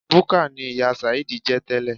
Búkà ni ìyá sàheed jẹ́ tẹ́lẹ̀.